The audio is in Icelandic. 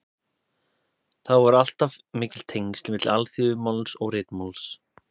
Þó voru alltaf mikil tengsl milli alþýðumáls og ritmáls.